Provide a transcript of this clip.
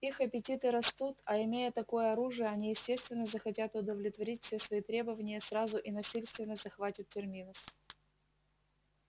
их аппетиты растут а имея такое оружие они естественно захотят удовлетворить все свои требования сразу и насильственно захватят терминус